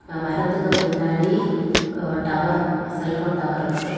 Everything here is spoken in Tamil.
அ மரத்துக்கு பின்னாடி ஒரு டவர் செல்போன் டவர் இருக்கு.